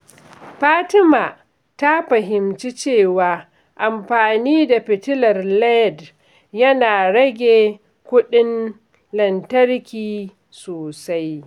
Fatima ta fahimci cewa amfani da fitilar LED yana rage kuɗin lantarki sosai.